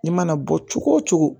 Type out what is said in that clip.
I mana bɔ cogo o cogo